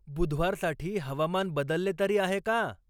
बुधवारसाठी हवामान बदलले तरी आहे का?